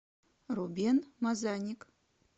рубен мазаник